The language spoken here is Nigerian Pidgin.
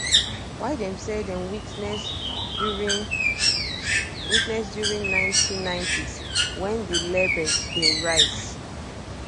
wey dem say dem witness during witness during 1990s wen di label dey rise